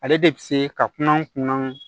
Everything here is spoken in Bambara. Ale de bɛ se ka kunna kunna